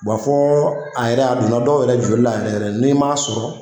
Wa fɔ a yɛrɛ, a donna dɔw yɛrɛ jolila yɛrɛ yɛrɛ n'i m'a sɔrɔ